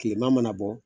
Kilema mana bɔ